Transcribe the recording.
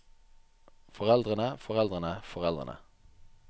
foreldrene foreldrene foreldrene